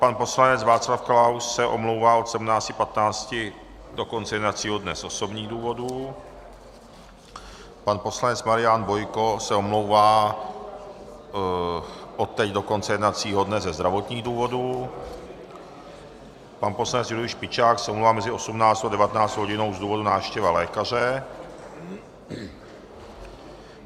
Pan poslanec Václav Klaus se omlouvá od 17.15 do konce jednacího dne z osobních důvodů, pan poslanec Marian Bojko se omlouvá odteď do konce jednacího dne ze zdravotních důvodů, pan poslanec Julius Špičák se omlouvá mezi 18. a 19. hodinou z důvodu návštěvy lékaře.